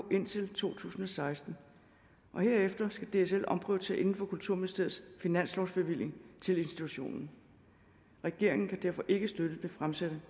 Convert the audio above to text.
indtil to tusind og seksten herefter skal dsl omprioritere inden for kulturministeriets finanslovsbevilling til institutionen regeringen kan derfor ikke støtte det fremsatte